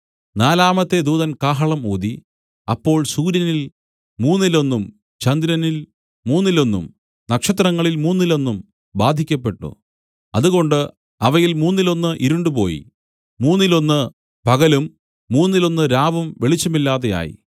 നാലാമത്തെ ദൂതൻ കാഹളം ഊതി അപ്പോൾ സൂര്യനിൽ മൂന്നിലൊന്നും ചന്ദ്രനിൽ മൂന്നിലൊന്നും നക്ഷത്രങ്ങളിൽ മൂന്നിലൊന്നും ബാധിക്കപ്പെട്ടു അതുകൊണ്ട് അവയിൽ മൂന്നിലൊന്നു ഇരുണ്ടുപോയി മൂന്നിലൊന്നു പകലും മൂന്നിലൊന്നു രാവും വെളിച്ചമില്ലാതെയായി